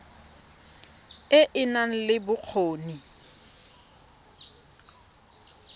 e e nang le bokgoni